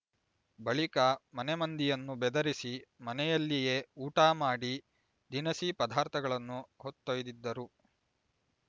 ಬಳಿಕ ಮನೆ ಮಂದಿಯನ್ನು ಬೆದರಿಸಿ ಮನೆಯಲ್ಲಿಯೇ ಊಟ ಮಾಡಿ ದಿನಸಿ ಪದಾರ್ಥಗಳನ್ನು ಹೊತ್ತೊಯ್ದಿದ್ದರು